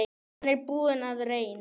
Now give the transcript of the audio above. Hann er búinn að reyn